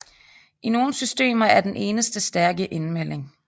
I nogle systemer er den eneste stærke indmelding